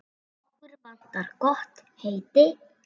Okkur vantar gott heiti.